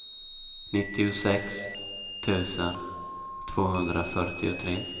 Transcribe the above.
nittiosex tusen tvåhundrafyrtiotre